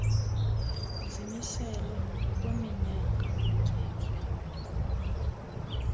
zimiselwa ngokweminyaka ukutyeba